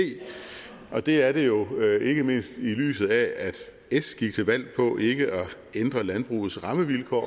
og det er jo ikke mindst i lyset af at s gik til valg på ikke at ændre landbrugets rammevilkår